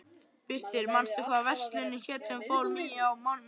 Birtir, manstu hvað verslunin hét sem við fórum í á miðvikudaginn?